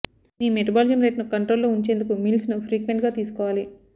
మీ metabolism rate ను control లో ఉంచేందుకు మీల్స్ ను ఫ్రీక్వెంట్ గా తీసుకోవాలి